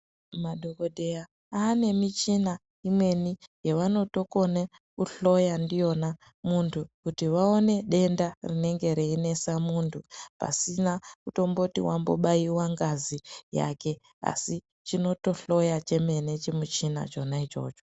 Madhokodheya aane michina imweni yavanotokona kuhloya ndiyona muntu kuti vaone denda rinenge reinesa muntu pasina kutomboti wambobayiwa ngazi yake asi chinotohloya chemene chimuchina chona ichocho.